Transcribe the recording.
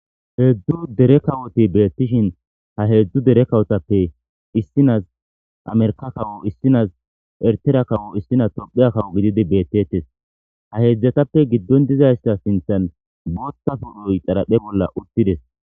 Heedzdu dere kawoti beettishin ha heedzdzu dere kawotappe issinaz amerka kawo issinaz ertera kawo issinas tophiya kawo gididi beettettes ha heedzdzatappe giddon dizaysta sinthan booththa pudhoy xaraphe bolla uttides